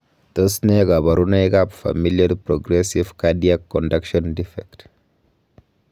Tos nee koborunoikab Familial progressive cardiac conduction defect?